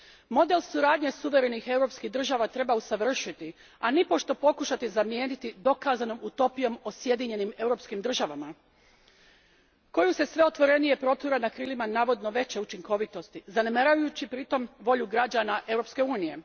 Model suradnje suverenih europskih država treba usavršiti a nipošto pokušati zamijeniti dokazanom utopijom o sjedinjenim europskim državama koju se sve otvorenije protura na krilima navodno veće učinkovitosti, zanemarujući pri tom volju građana Europske unije.